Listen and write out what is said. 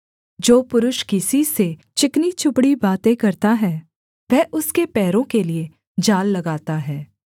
जो पुरुष किसी से चिकनी चुपड़ी बातें करता है वह उसके पैरों के लिये जाल लगाता है